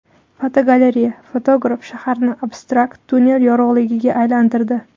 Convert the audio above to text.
Fotogalereya: Fotograf shaharni abstrakt tunnel yorug‘ligiga aylantirdi.